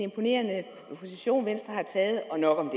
imponerende position venstre har taget og nok om